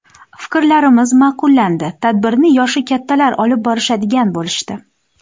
Fiklarimiz ma’qullandi, tadbirni yoshi kattalar olib borishadigan bo‘lishdi.